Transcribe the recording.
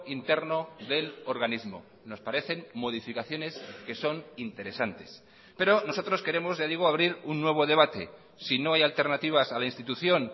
interno del organismo nos parecen modificaciones que son interesantes pero nosotros queremos ya digo abrir un nuevo debate si no hay alternativas a la institución